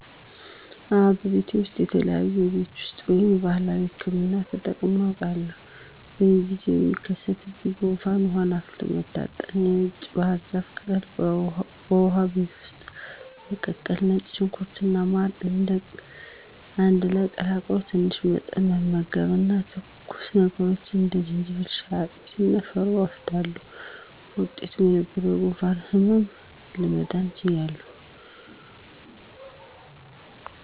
አወ በቤቴ ውሰጥ የተለያዩ የቤት ውስጥ ወይም ባህላዊ ህክምና ተጠቅሜ አውቃለሁ። በየጊዜው ለሚከሰትብኝ ጉንፋን ውሃን አፍልቶ መታጠን፣ የነጭ ባህርዛፍን ቅጠል በውሃ ቤት ውስጥ መቀቀል፣ ነጭ ሽንኩርት እና ማርን አንድ ላይ ቀላቅሎ በትንሽ መጠን መመገብ እና ትኩስ ነገሮችን እንደ የዝንጅብል ሻይ፣ አጥሚት እና ሾርባ እወስዳለሁ። በውጤቱም ከነበረብኝ የጉንፋን ህመም ለመዳን ችያለሁ።